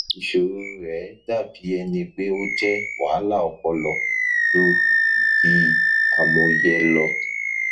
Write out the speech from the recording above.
iṣoro rẹ dabi ẹni pe o jẹ wahala ọpọlọ ju idi amuye lọ